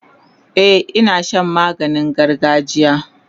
e Ina Shan maganin gargajiya